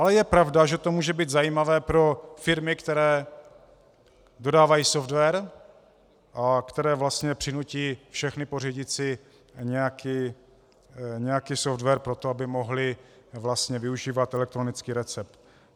Ale je pravda, že to může být zajímavé pro firmy, které dodávají software a které vlastně přinutí všechny pořídit si nějaký software proto, aby mohli vlastně využívat elektronický recept.